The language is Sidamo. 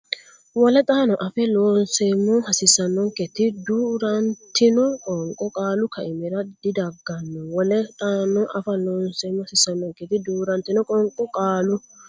Wole xaano afa Loonseemmo hasiissannonketi duu rantino qoonqo qaalu kaimira didagganno Wole xaano afa Loonseemmo hasiissannonketi duu rantino qoonqo qaalu.